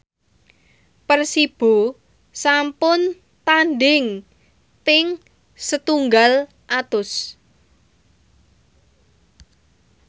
Persibo sampun tandhing ping setunggal atus